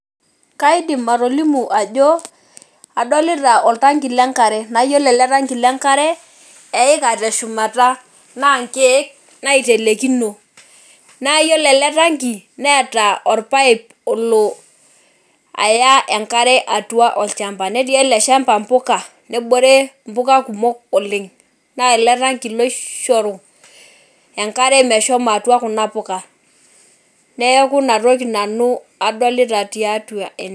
Kaidim atolimu ajo adolita oltanki lenkare naa yiolo ele tanki lenkare eika teshumata, naa nkiek naitelekino naa yiolo ele tanki neeta orpipe olo aya enkare atua olchamba netii ele shamba mpuka , nebore mpuka kumok oleng naa ele tanki loishoru enkare meshomo atua kuna puka , neeku inatoki nanu adolita tiatua ene.